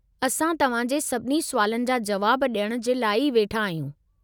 असां तव्हां जे सभिनी सुवालनि जा जुवाब डि॒यणु जे लाइ वेठा आहियूं।